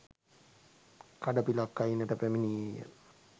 කඩපිලක් අයිනට පැමිණියේ ය.